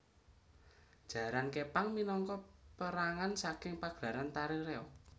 Jaran Képang minangka pérangan saking pagelaran tari reog